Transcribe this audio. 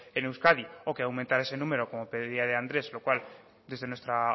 en euskadi o que aumentar ese número como pedía de andrés lo cual desde nuestra